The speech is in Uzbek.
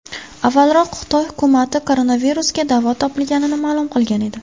Avvalroq Xitoy hukumati koronavirusga davo topilganini ma’lum qilgan edi .